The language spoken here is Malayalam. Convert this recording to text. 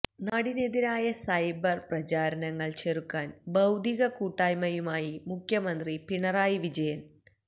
നാടിനെതിരായ സൈബർ പ്രചാരണങ്ങൾ ചെറുക്കാൻ ബൌദ്ധിക കൂട്ടായ്മയുമായി മുഖ്യമന്ത്രി പിണറായി വിജയൻ